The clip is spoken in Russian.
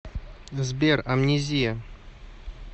сбер амнезия